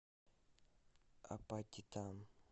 апатитам